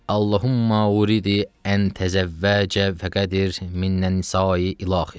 Allahummə uridu ən təzəvvəcə fəqədir minnən isai ila axir.